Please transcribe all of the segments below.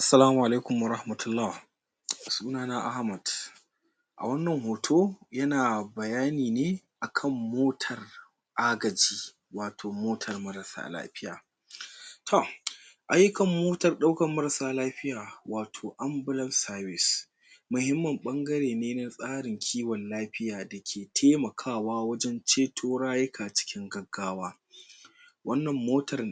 Assalamu alaikum warahmatullah suna na Ahmad a wannan hoto yana bayani ne akan mota agaji wato motar marasa lafiya to ayyukan motar ɗaukar marasa lafiya wato abulance service mahimmin ɓangare ne na tsarin kiwon lafiya da ke taimakawa wajen ceto rayuka cikin gaggawa wannan motar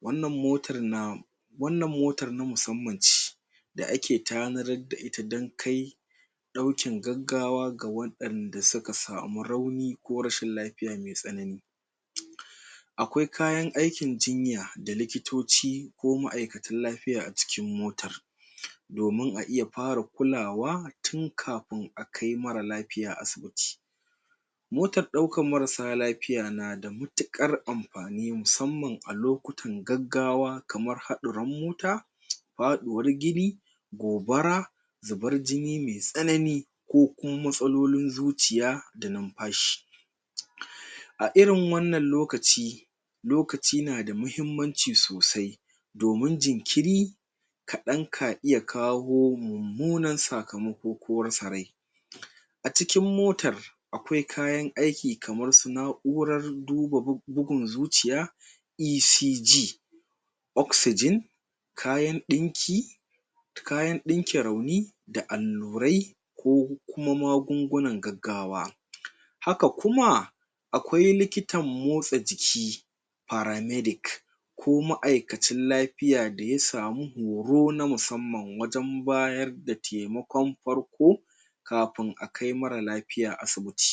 wannan motar na wannan motar na musamman ce da ake tanadar da ita dan kai ɗaukin gaggawa ga waɗanda suka samu rauni ko rashin lafiya mai tsanani akwai kayan aikin jinya da likitoci ko ma'aikatan lafiya a cikin motar domin a iya fara kulawa tun kafin a kai mara lafiya asibiti motar ɗaukan marasa lafiya na da matuƙar amfani musamman a lokutan gaggawa kaman haɗarin mota, faɗuwar gini, gobara zubar jini mai tsanani ko kuma matsalolin zuciya da numfashi a irin wannan lokaci lokaci na da mahimmanci sosai domin jinkiri kaɗan ka iya kawo mummunan sakamako ko rasa rai a cikin motar akwai kayan aiki kamar su na'urar duba bugun zuciya E.C.G oxygen kayan ɗinki kayan ɗinke rauni da allurai ko kuma magungunan gaggawa haka kuma akwai likitan motsa jiki para-medic ko ma'aikacin lafiya daya samu horo na musamman wajen bayar da taimakon farko kafin a kai mara lafiya asibiti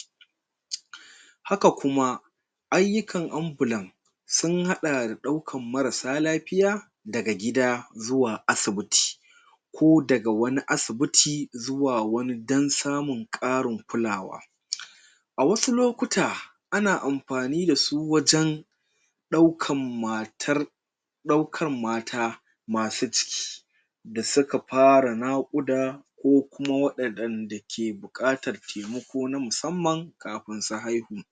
haka kuma ayyukan abulan sun haɗa da ɗaukan marasa lafiya daga gida zuwa asibiti ko daga wani asibiti zuwa wani dan samun ƙarin kulawa a wasu lokuta ana amfani da su wajen ɗaukan matar ɗaukan mata masu ciki da suka fara naƙuda ko kuma waɗanda ke buƙatar taimako na musamman kafin su haihu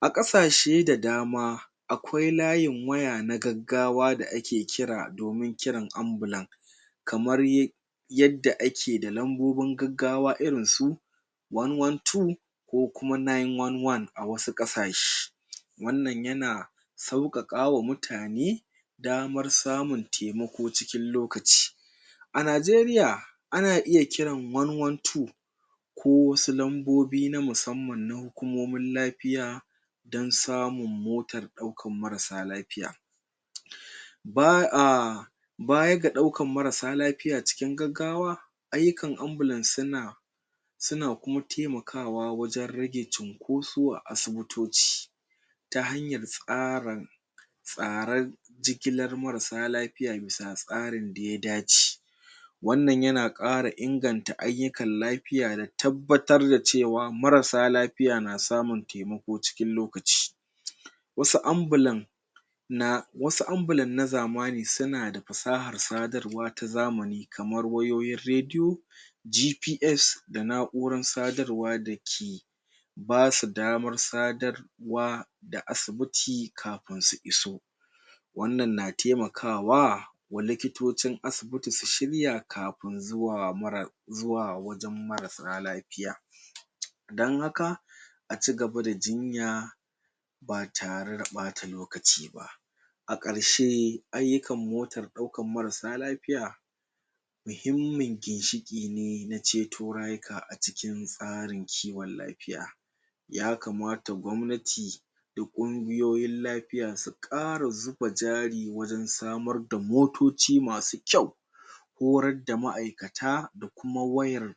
a ƙasashe da dama akwai layin waya na gaggawa da ake kira domin kiran ambulan kamar yadda ake da lambobin gaggawa irin su one, one, two ko kuma nine, one, one a wasu ƙasashe wannan yana sauƙaƙa wa mutane damar samun taimako cikin lokaci a Najeriya ana ya kiran one, one, two ko wasu lambobi na musamman na hukumomin lafiya dan samun motar ɗaukar marasa lafiya ba'a bayan ga ɗaukar marasa lafiya cikin gaggawa ayyukan ambulan suna suna kuma taimakawa wajen rage cunkoso a asibitoci ta hanyar tsara tsaren jigilar marasa lafiya bisa tsarin da ya dace wannan yana ƙara inganta ayyukan lafiya da tabbatar da cewa marasa lafiya na samun taimako cikin lokaci wasu ambulan na wasu ambulan na zamani suna da fasahar sadarwa ta zamani kamar wayoyin rediyo GPS da na'urar sadarwa da ke basu damar sadar wa da asibiti kafin su iso wannan na taimakawa wa likitocin asibiti su shirya kafin zuwa mara zuwa wajen marasa lafiya dan haka a cigaba da jinya ba tare da ɓata lokaci ba a ƙarshe ayyukan motar ɗaukar marasa lafiya muhimmin ginshiƙi ne na ceto rayuka a cikin tsarin kiwon lafiya yakamata gwamnati da ƙungiyoyin lafiya su ƙara zuba jari wajen samar da motoci masu kyau horar da ma'aikata da kuma wayar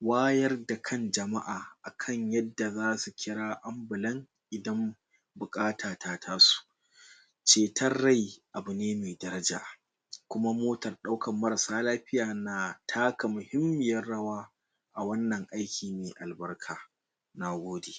wayar da kan jama'a akan yadda zasu kira ambulan idan buƙata ta taso ceton rai abu ne mai daraja kuma motan ɗaukar marasa lafiya na taka muhummiyar rawa a wannan aiki mai albarka na gode.